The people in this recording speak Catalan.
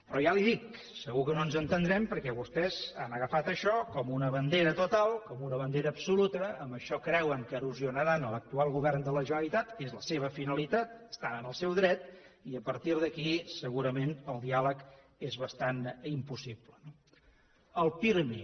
però ja li ho dic segur que no ens entendrem perquè vostès han agafat això com una bandera total com una bandera absoluta amb això creuen que erosionaran l’actual govern de la generalitat és la seva finalitat hi estan en el seu dret i a partir d’aquí segurament el diàleg és bastant impossible no el pirmi